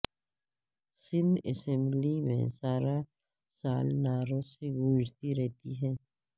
Sindh assembly میں سارا سال نعروں سے گونجتی رہی